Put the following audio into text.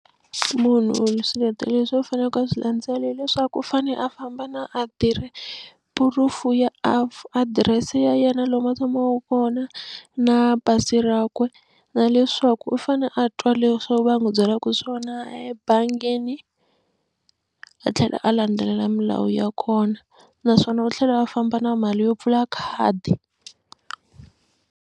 Munhu swiletelo leswi a fanekele a swi landzela hileswaku u fane a famba na proof ya adirese ya yena lomu a tshamaka kona na pasi rakwe na leswa loko u fane a twa leswaku va ya n'wi byelaka swona ebangini a tlhela a landzelela milawu ya kona naswona u tlhela a famba na mali yo pfula khadi.